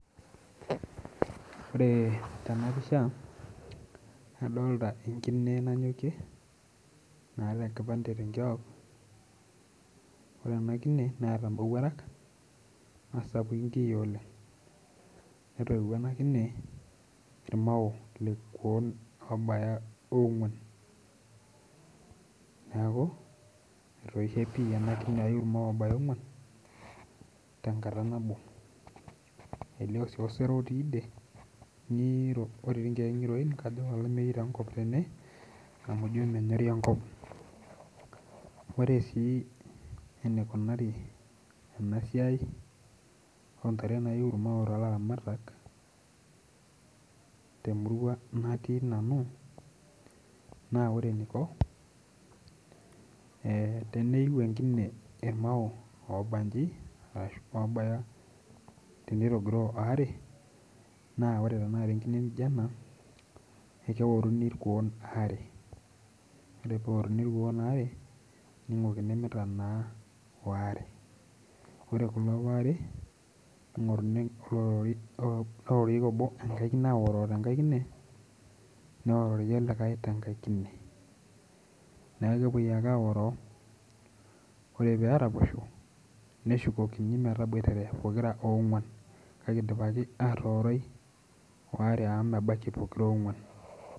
Ore tena pisha adolta enkine nanyokie naata enkipande tenkiok ore ena kine neeta imowuarak naa sapuki inkiyia oleng netoiwuo ena kine irmao ilkuon obaya ong'uan neeku etoishe pii ena kine ayu irmao obaya ong'uan tenkata nabo elio sii osero otii idie ng'iro otii inkeek ng'iroi kajo kolameyu taa enkop tene amu menyori enkop ore sii eneikunari ena siai ontare nayu irmao tolaramatak temurua natii nanu naa ore eniko eh teneiu enkine irmao obanji arashu oobaye tenitogiroo aare naa ore tanakata enkine nijio ena ekeworuni irkuon waare ore peworuni irkuon waare ningikini mitanaa waare ore kulo waare ning'orunu olororie neororieki obo enkae kine aoroo tenkae kine neorori olikae tenkae kine neku kepuoi ake aoroo ore peraposho neshukokini metaboitare pokira ong'uan kake idipaki atooroi waare amu mebaikii pokira onguan.